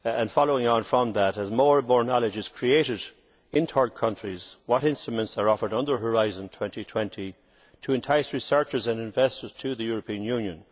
Following on from that, as more and more knowledge is created in third countries, what instruments are offered under Horizon 2020 to entice researchers and investors to the European Union?